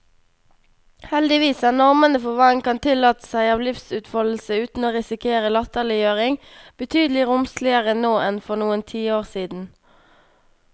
Heldigvis er normene for hva en kan tillate seg av livsutfoldelse uten å risikere latterliggjøring, betydelig romsligere nå enn for noen tiår siden.